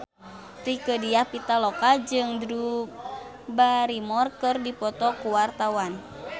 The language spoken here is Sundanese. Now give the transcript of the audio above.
Rieke Diah Pitaloka jeung Drew Barrymore keur dipoto ku wartawan